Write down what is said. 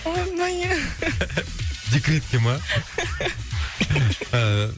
декретке ма